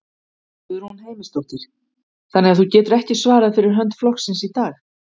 Guðrún Heimisdóttir: Þannig að þú getur ekki svarað fyrir hönd flokksins í dag?